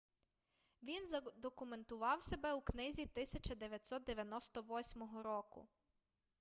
він задокументував себе у книзі 1998 року